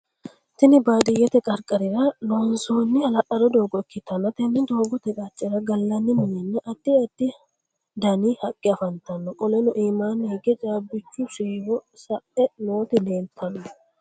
Tinni baadiyete qarqarira loonsoonni ha'lalado doogo ikitanna tenne doogote qacera galanni minnanna addi addi danni haqe afantano. Qoleno iimaanni hige caabichu siiwo sa'e nooti leeltano.